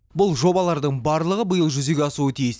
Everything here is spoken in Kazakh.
бұл жобалардың барлығы биыл жүзеге асуы тиіс